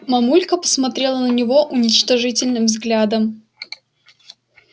мамулька посмотрела на него уничижительным взглядом